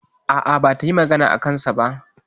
A'a, bata yi magana a kansa ba.